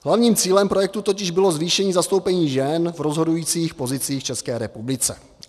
Hlavním cílem projektu totiž bylo zvýšení zastoupení žen v rozhodujících pozicích v České republice.